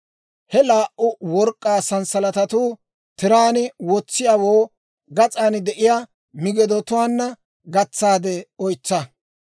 He laa"u work'k'aa sanssalatatuwaa tiraan wotsiyaawoo gas'an de'iyaa migidotuwaanna gatsaade oytsa.